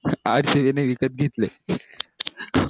rcb ने विकत घेतले